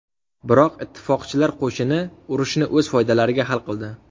Biroq ittifoqchilar qo‘shini urushni o‘z foydalariga hal qildi.